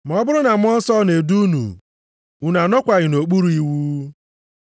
Ma ọ bụrụ na Mmụọ Nsọ na-edu unu, unu anọkwaghị nʼokpuru iwu.